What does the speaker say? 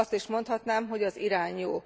Azt is mondhatnám, hogy az irány jó.